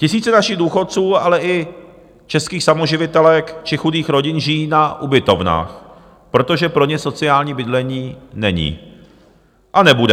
Tisíce našich důchodců, ale i českých samoživitelek či chudých rodin žijí na ubytovnách, protože pro ně sociální bydlení není a nebude.